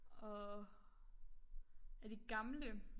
Og af de gamle